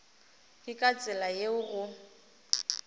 ke ka tsela yeo go